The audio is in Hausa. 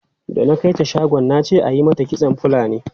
Da na kai ta shagon na ce ayi mata kitson Fulani.